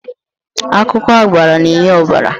Akwụkwọ agbara na-enye ọbara.